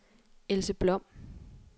Else Blom